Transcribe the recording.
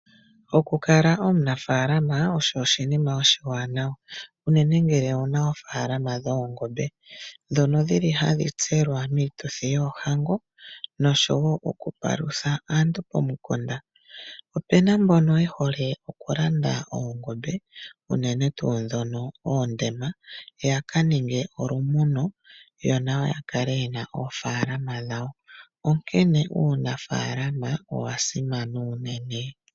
Okukala omunafaalama osho oshinima oshiwanawa unene ngele owuna ofaalama dhoongombe ndhono dhili hadhi tselwa miituthi yoohango noshowo okupalutha aantu pomikunda. Opu na mbono ye hole okulanda oongombe unene tuu ndhono oondema yaka ninge olumuno yo nayo ya kale yena oofaalama dhawo onkene uunafaalama owa simana unene.